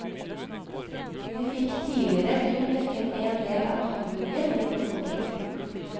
De fikk tidligere kun dekket en del av behandlingen gjennom folketrygden.